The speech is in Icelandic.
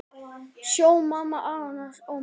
Sjö manna áhöfn slapp ómeidd.